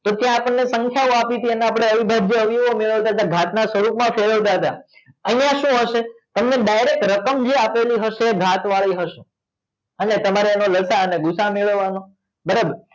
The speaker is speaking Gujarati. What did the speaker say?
તો ત્યાં આપણને સંખ્યાઓ આપી છે અને આપણે અવિભાજ્ય અવયવ મેળવતાતા ઘાટના સ્વરૂપમાં ફેરવતાતા અહીંયા શું હશે અહીંયા ડાયરેક્ટ જે રકમ આપેલી હશે એ ઘાતવાળી હશે અને તમારે એનો લસા અને ભુસા મેળવવાનો બરાબર